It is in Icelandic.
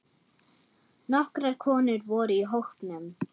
Nokkrar konur voru í hópnum.